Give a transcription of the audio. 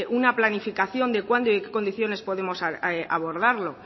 una planificación de cuándo y en qué condiciones podemos abordarlo